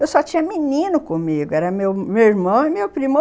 Eu só tinha menino comigo, era meu meu irmão e meu primo.